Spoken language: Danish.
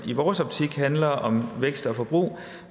i vores optik handler om vækst og forbrug